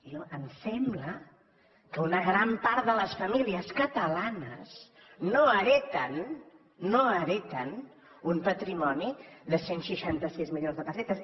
a mi em sembla que una gran part de les famílies catalanes no hereten no hereten un patrimoni de cent i seixanta sis milions de pessetes